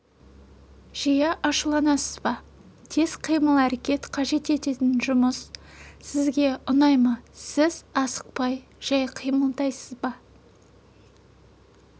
жиі ашуланасыз ба тез қимыл-әрекет қажет ететін жұмыс сізге ұнай ма сіз асықпай жай қимылдайсыз ба